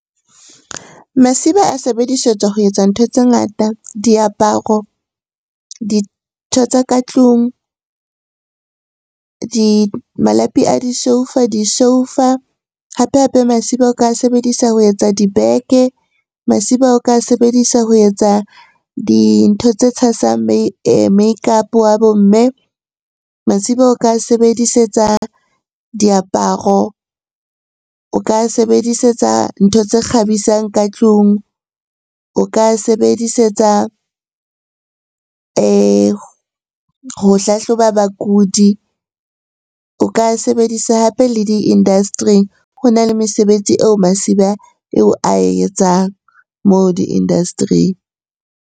Masiba a sebedisetswa ho etsa ntho tse ngata. Diaparo, dintho tsa ka tlung, malapi a disoufa, disoufa. Hape-hape masiba o ka sebedisa ho etsa dibeke, masiba o ka sebedisa ho etsa dintho tse tshasang makeup wa bo mme, masiba o ka sebedisetsa diaparo, o ka sebedisetsa ntho kgabisang ka tlung, o ka sebedisetsa ho hlahloba bakudi, o ka a sebedisa hape le di-industry-ing. Ho na le mesebetsi eo masiba eo ae etsang moo di-industry-ing.